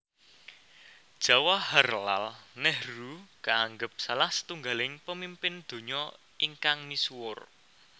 Jawaharlal Nehru kaanggep salah setunggiling pamimpin donya ingkang misuwur